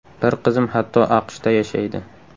Bir qizim hatto AQShda yashaydi!